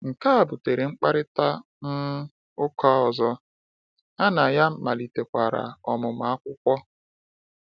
Nke a butere mkparịta um ụka ọzọ, ha na ya malitekwara ọmụmụ akwụkwọ.